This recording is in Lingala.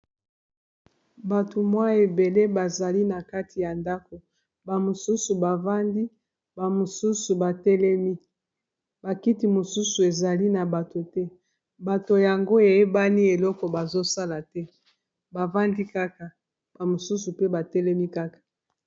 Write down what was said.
Bato mwa ebele bazali na kati ya ndako ba mosusu bavandi ba mosusu batelemi ba kiti mosusu ezali na bato te bato yango eyebani eloko bazosala te bavandi kaka ba mosusu mpe batelemi kaka.